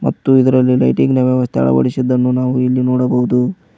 ಮತ್ತು ಇದರಲ್ಲಿ ಲೈಟಿಂಗ್ ನ ವ್ಯವಸ್ಥೆ ಅಳವಡಿಸಿದ್ದನ್ನು ನಾವು ಇಲ್ಲಿ ನೋಡಬಹುದು.